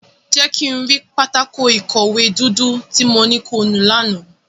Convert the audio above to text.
Jẹ ki n ri pátákó-ikọwe dudu ti mo ni ki o nu làná!